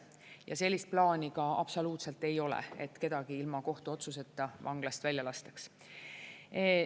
Ja sellist plaani ka absoluutselt ei ole, et kedagi ilma kohtuotsuseta vanglast välja lastaks.